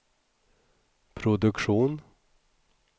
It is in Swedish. produktion